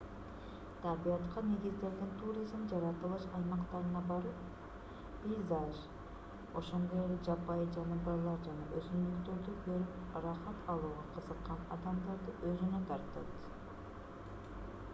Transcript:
табиятка негизделген туризм жаратылыш аймактарына барып пейзаж ошондой эле жапайы жаныбарлар жана өсүмдүктөрдү көрүп ырахат алууга кызыккан адамдарды өзүнө тартат